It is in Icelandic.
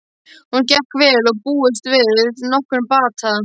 Hún gekk vel og búist var við nokkrum bata.